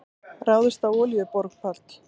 Ráðist á olíuborpall